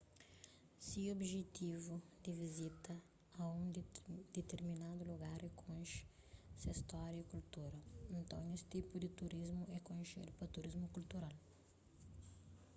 si objetivu di vizita a un ditirminadu lugar é konxe se stória y kultura nton es tipu di turismu é konxedu pa turismu kultural